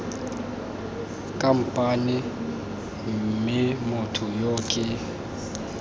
khamphane mme motho yo ke